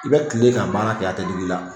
I bɛ kile ka baara kɛ a tɛ digi i la